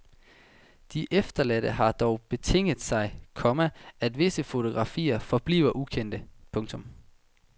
De efterladte har dog betinget sig, komma at visse fotografier forbliver ukendte. punktum